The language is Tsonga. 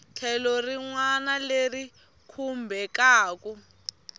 tlhelo rin wana leri khumbekaku